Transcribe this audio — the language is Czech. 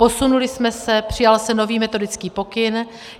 Posunuli jsme se, přijal se nový metodický pokyn.